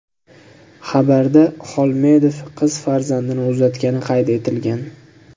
Xabarda Xolmedov qiz farzandini uzatgani qayd etilgan.